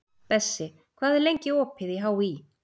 Bessi, hvað er lengi opið í HÍ?